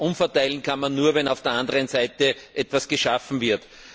Umverteilen kann man nur, wenn auf der anderen Seite auch etwas geschaffen wird.